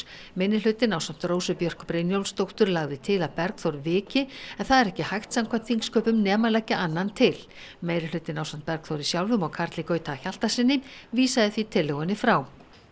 minnihlutinn ásamt Rósu Björk Brynjólfsdóttur lagði til að Bergþór viki en það er ekki hægt samkvæmt þingsköpum nema leggja annan til meirihlutinn ásamt Bergþóri sjálfum og Karli Gauti Hjaltasyni vísaði því tillögunni frá